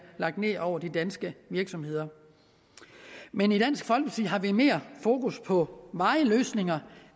lagt ned over de danske virksomheder men i dansk folkeparti har vi mere fokus på varige løsninger